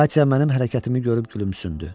Katya mənim hərəkətimi görüb gülümsündü.